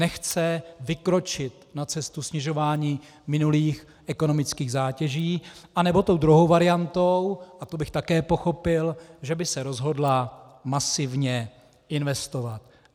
Nechce vykročit na cestu snižování minulých ekonomických zátěží a nebo tou druhou variantou, a to bych také pochopil, že by se rozhodla masivně investovat.